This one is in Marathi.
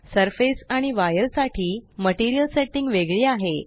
सरफेस आणि वायर साठी मटेरियल सेट्टिंग वेगळी आहे